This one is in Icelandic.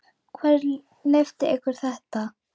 Hver hefur leyft ykkur þetta?